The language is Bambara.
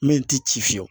Min ti ci fiyewu